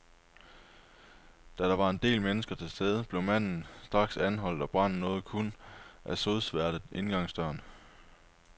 Da der var en del mennesker til stede, blev manden straks anholdt, og branden nåede kun at sodsværte indgangsdøren.